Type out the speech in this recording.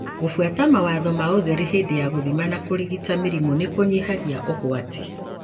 Gubuata mawatho ma ũtheru hĩndĩ ya gũthima na kũrigita mĩrimũ nĩkũnyihagia ũgwati.